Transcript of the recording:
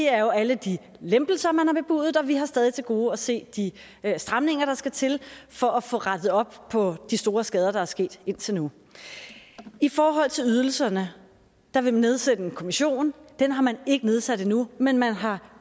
er jo alle de lempelser man har bebudet og vi har stadig til gode at se de stramninger der skal til for at få rettet op på de store skader der er sket indtil nu i forhold til ydelserne vil man nedsætte en kommission den har man ikke nedsat endnu men man har